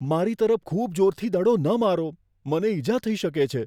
મારી તરફ ખૂબ જોરથી દડો ન મારો. મને ઈજા થઈ શકે છે.